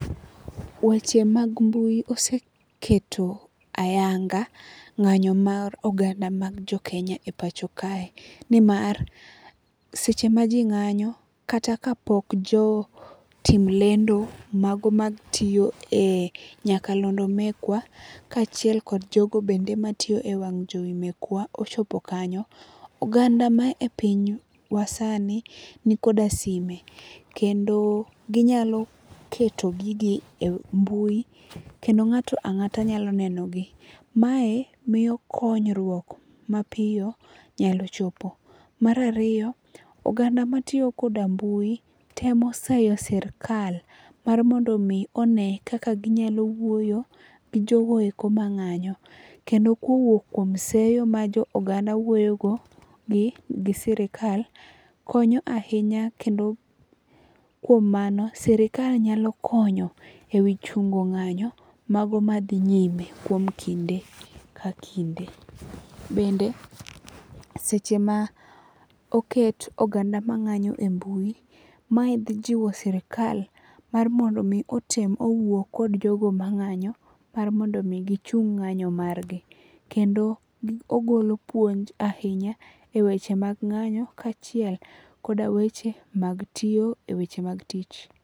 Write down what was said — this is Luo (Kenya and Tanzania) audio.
Weche mag mbui oseketo ayanga ng'anyo mag oganda mag jokenya e pacho kae nimar seche ma ji ng'anyo, kata ka pok jo tim lendo mago matiyo e nyakalondo mekwa ka achiel kod jogo bende matiyo e wang' jowi mekwa ochopo kanyo, oganda ma e piny wa sani ni koda sime, kendo ginyalo keto gigi e mbui kendo ng'ato angata nyalo neno gi. Mae miyo konyruok mapiyo nyalo chopo. Mar ariyo, oganda matiyo koda mbui temo sayo sirkal mar mondo mi one kaka ginyalo wuoyo gi joko eko ma nganyo. Kendo kowuok kuom seyo ma jo oganda wuoyo go gi sirkal, konyo ahinya kendo kuom mano sirkal nyalo konyo e wi chungo ng'anyo mago ma dhi nyime kuom kinde ka kinde. Bende seche ma oket oganda ma ng'anyo e mbui, mae dhi jiwo sirkal mar mondo mi otim owuo kod jogo mang'anyo mar mondo mi gichung ng'anyo mar gi. Kendo ogolo puonj ahinya e weche mag ng'anyo ka achiel koda weche mag tiyo e weche mag tich.